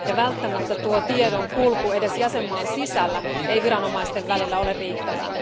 Välttämättä tiedonkulku edes jäsenmaan sisällä ei viranomaisten välillä ole riittävää.